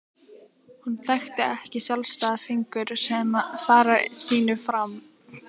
Hún þekkti ekki sjálfstæða fingur sem fara sínu fram.